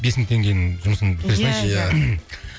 бес мың теңгенің жұмысын бітіре салайыншы